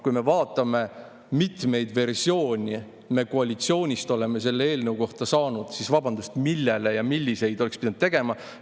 Kui me aga vaatame, kui mitu versiooni me koalitsioonist oleme selle eelnõu kohta saanud, siis vabandust, millise kohta me oleks pidanud ettepanekuid tegema?